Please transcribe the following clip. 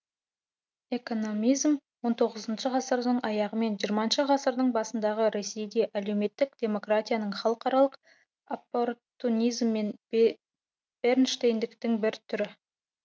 экономизм он тоғызыншы ғасырдың аяғы мен жиырмасыншы ғасырдың басындағы ресейде әлеуметтік демократияның халықаралық оппортунизм мен бернштейндіктің бір түрі